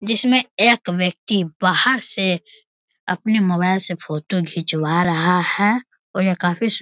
जिसमें एक व्यक्ति बाहर से अपने मोबाइल से फोटो घिचवा रहा है।